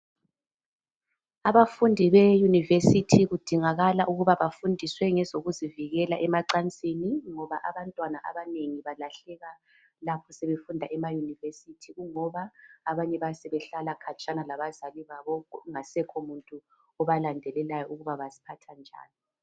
Abafundi beyunivesithi kudingakala ukuba bafundiswe ngezokuzivikela emacansini ngoba abantwana abanengi balahleka lapho sebefunda emayunivesithi kungoba abanye bayabe sebehlala khatshana labazali abo kungasekhomuntu obalandelelayo ukuthi baziphatha njani.